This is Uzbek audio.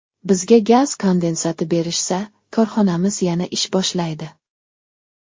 Bizga gaz kondensati berishsa, korxonamiz yana ish boshlaydi.